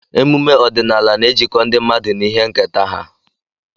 Emume ọdịnala na-ejikọ ndị mmadụ na ihe nketa ha.